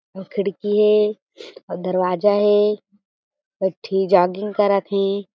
ये खिड़की ए अऊ दरवाजा हें एक ठी जॉगिंग करत हे।